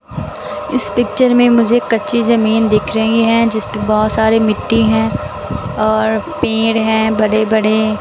इस पिक्चर में मुझे कच्ची जमीन दिख रही है जिस पे बहुत सारे मिट्टी हैं और पेड़ हैं बड़े बड़े।